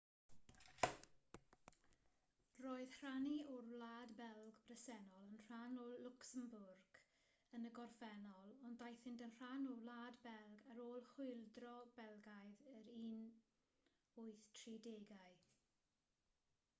roedd rhannau o'r wlad belg bresennol yn rhan o lwcsembwrg yn y gorffennol ond daethant yn rhan o wlad belg ar ôl chwyldro belgaidd yr 1830au